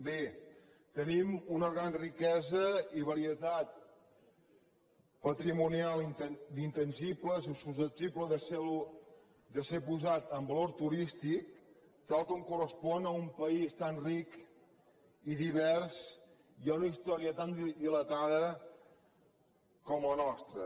bé tenim una gran riquesa i varietat patrimonial d’intangibles i susceptible de ser posat en valor turístic tal com correspon a un país tan ric i divers i a una història tan dilatada com la nostra